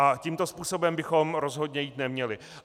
A tímto způsobem bychom rozhodně jít neměli.